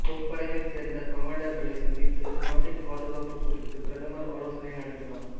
முப்படைகளை சேர்ந்த கமாண்டர்களை சந்தித்து நாட்டின் பாதுகாப்பு குறித்து பிரதமர் ஆலோசனை நடத்தினார்